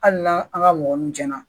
Hali n'an an ka mɔgɔ nun cɛn na